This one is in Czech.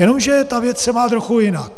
Jenomže ta věc se má trochu jinak.